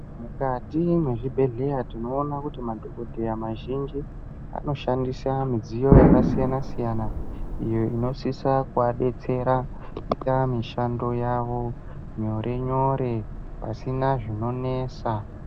Mukati mwezvibhedhleya tinoona kuti madhokodheya mazhinji anoshandisa midziyo yakasiyana siyana iyo inosisa kuadetsera kuita mishando yavo nyore nyore pasina zvinonesa.